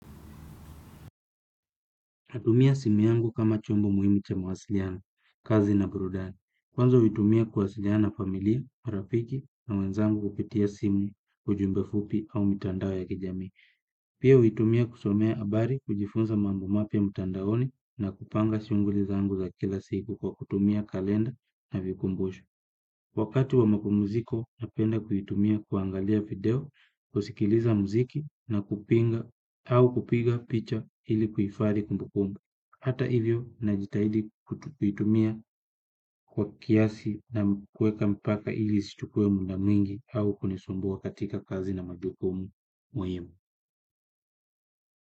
Natumia simu yangu kama chombo muhimu cha mawasiliano, kazi na burudani. Kwanza huitumia kuwasiliana na familia, marafiki na wenzangu kupitia simu, ujumbe fupi au mitandao ya kijamii. Pia huitumia kusomea habari, kujifunza mambo mapya mtandaoni na kupanga shughuli zangu za kila siku kwa kutumia kalenda na vikumbusho. Wakati wa mapumziko napenda kuitumia kuangalia video kusikiliza muziki na kupinga au kupiga picha ili kuhifadhi kumbukumbu. Hata hivyo najitahidi kuitumia kwa kiasi na kuweka mpaka ili isichukue muda mwingi au kunisumbua katika kazi na majukumu muhimu.